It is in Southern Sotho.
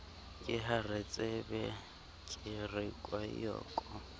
ke haretsebe ke re koeyoko